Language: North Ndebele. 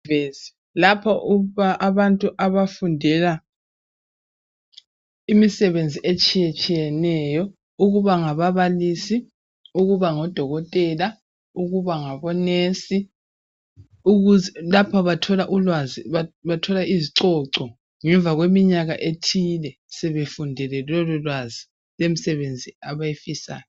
lapha abantu abafundela imisebenzi etshiyetshiyeneyo ukuba ngababalisi ukuba ngodokotela ukuba ngabo nurse lapha bathola ulwazi bathola izicoco ngemva kweminyaka ethile sebefundile lolulwazi lwemisebenzi abayifisayo